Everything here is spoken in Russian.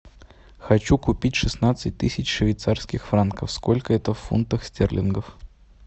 хочу купить шестнадцать тысяч швейцарских франков сколько это в фунтах стерлингов